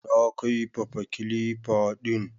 Na kaifafa kilifa din